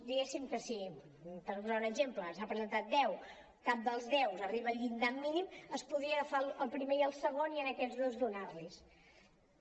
diguéssim que si per posar un exemple se n’han presentat deu cap dels deu arriba al llindar mínim es podrien agafar el primer i el segon i a aquests dos donar los hi